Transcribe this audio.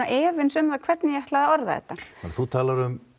efins um það hvernig ég ætlaði að orða þetta þú talar um